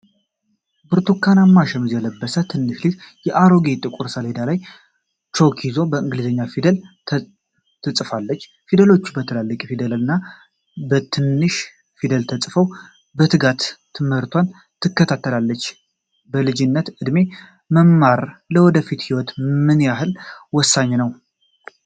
ብርቱካናማ ሸሚዝ የለበሰች ትንሽ ልጅ በአሮጌ ጥቁር ሰሌዳ ላይ ቾክ ይዛ በእንግሊዝኛ ፊደላት ትፅፋለች። ፊደሎቹ በትልልቅ ፊደልና በትንሽ ፊደል ተጽፈው በትጋት ትምህርቷን ትከታተላለች። በልጅነት ዕድሜ መማር ለወደፊት ህይወት ምን ያህል ወሳኝ ነው?